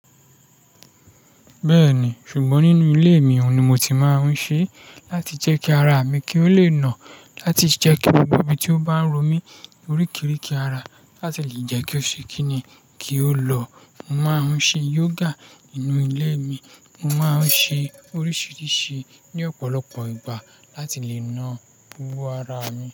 Bẹ́ẹ̀ni, ṣùgbọ́n nínú ilé mi òun ni mo ti máa ń ṣe láti jẹ́ kí ara mi kí ó lè nà, láti jẹ́ kí gbogbo ibi tí ó bá ń ro mí orí kiri kí ara láti lè jẹ́ kí ó ṣe kíni, kí ó lọ. Mo máa ń ṣe yoga nínú ilé mi. Mo máa ń ṣe oríṣìíríṣìí ní ọ̀pọ̀lọpọ̀ ìgbà láti lè na wo ara mi.